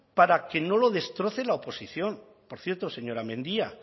para que no lo destroce la oposición por cierto señora mendia